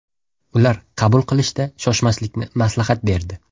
Ular qaror qabul qilishda shoshmaslikni maslahat berdi.